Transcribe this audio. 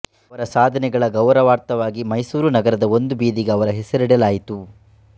ಅವರ ಸಾಧನೆಗಳ ಗೌರವಾರ್ಥವಾಗಿ ಮೈಸೂರು ನಗರದ ಒಂದು ಬೀದಿಗೆ ಅವರ ಹೆಸರಿಡಲಾಯಿತು